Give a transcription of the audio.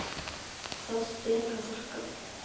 Það ber að þakka.